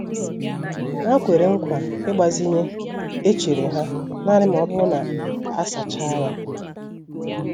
Ha kwere nkwa ịgbazinye echere ha naanị ma ọ bụrụ na a sachaa ya.